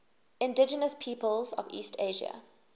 indigenous peoples of east asia